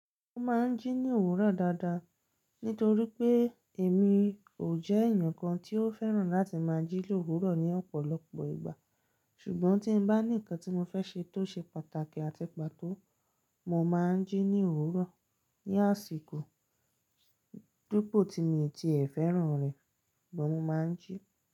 Mo máa ń jí ní òwúrò dáadáa, nítorí pé èmi ò jé èèyàn kan tí ó fẹ́ràn láti máa jí lówúrò ní ọ̀pọ̀lọpọ̀ ìgbà ṣùgbọ́n tí n bá ní ǹkan tí mo fẹ́ ṣe tó ṣe pàtàkì àti pàtó, mo má ń jí ní òwúrò. Ní àsìkò dipò tí mo ti e féràn rẹ̀, mo má ń jí.